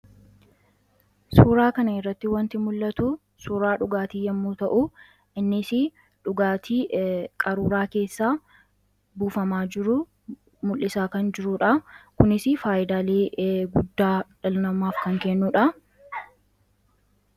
Suuraa kana irratti wanti mul'atu suuraa dhugaatii yommuu ta'u innisi dhugaatii qaruuraa keessaa buufamaa jiruu mul'isaa kan jiruudha. Kunis faayyidalee guddaa dhala namaaf kan kennuudha.